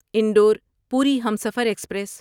Indore Puri Humsafar express